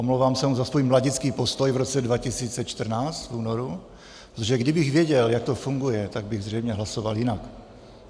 Omlouvám se mu za svůj mladický postoj v roce 2014 v únoru, protože kdybych věděl, jak to funguje, tak bych zřejmě hlasoval jinak.